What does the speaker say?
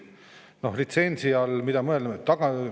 Noh, mida litsentsi all mõeldakse?